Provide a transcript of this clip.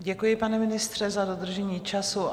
Děkuji, pane ministře, za dodržení času.